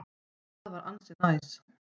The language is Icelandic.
Það er ansi næs.